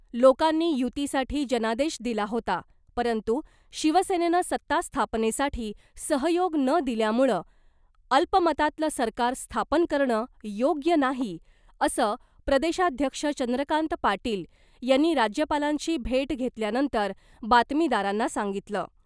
लोकांनी युतीसाठी जनादेश दिला होता , परंतु शिवसेनेनं सत्ता स्थापनेसाठी सहयोग न दिल्यामुळं अल्पमतातलं सरकार स्थापन करणं योग्य नाही , असं प्रदेशाध्यक्ष चंद्रकांत पाटील यांनी राज्यपालांची भेट घेतल्यानंतर बातमीदारांना सांगितलं .